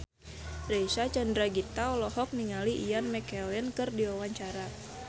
Reysa Chandragitta olohok ningali Ian McKellen keur diwawancara